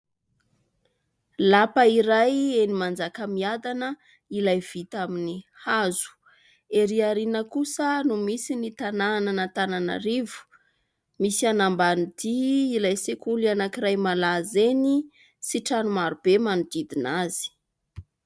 Lapa iray eny Manjakamiadana, ilay vita amin'ny hazo. Erỳ aoriana kosa no misy ny tanànan'Antananarivo, misy an' Ambanidia ilay sekoly anankiray malaza eny sy trano marobe manodidina azy.